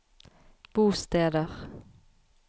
bosteder